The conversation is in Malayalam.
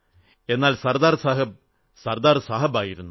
എന്നാൽ സർദാർ സാഹബ് സർദാർ സാഹബായിരുന്നു